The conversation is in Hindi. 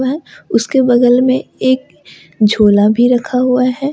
उसके बगल में एक झोला भी रखा हुआ है।